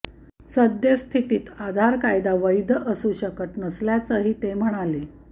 सद्यस्थितीत आधार कायदा वैध असू शकत नसल्याचंही ते म्हणाले